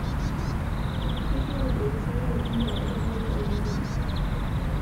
Keitukuj olosho le Uganda erripoto oo ntimi